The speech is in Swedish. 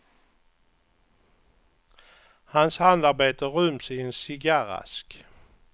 Hans handarbete ryms i en cigarrask.